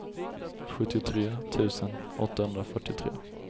sjuttiotre tusen åttahundrafyrtiotre